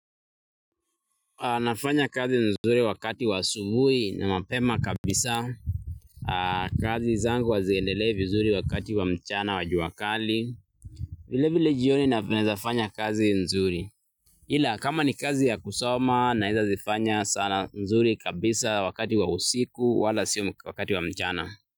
Anafanya kazi nzuri wakati wa asubui na mapema kabisa. Kazi zangu haziendelei vizuri wakati wa mchana wa jua kali vile vile jioni naweza fanya kazi nzuri. Ila kama ni kazi ya kusoma naeza zifanya saa nzuri kabisa wakati wa usiku wala sio wakati wa mchana.